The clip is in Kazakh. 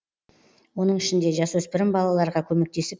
оның ішінде жасөспірім балаларға көмектесіп